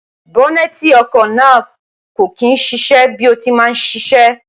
bọ́nẹ́ẹ̀ti ọkọ̀ náà kò kí ń ṣiṣẹ́ bí ó ti máa ń ṣiṣẹ́